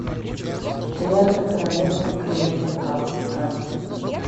лента королевство кривых зеркал искать